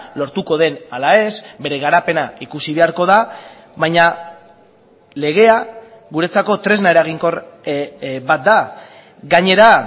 lortuko den ala ez bere garapena ikusi beharko da baina legea guretzako tresna eraginkor bat da gainera